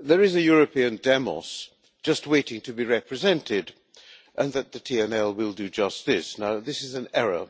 there is a European demos just waiting to be represented, and that the TNL will do just this. This is an error.